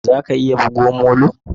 Za ka iya buga molo?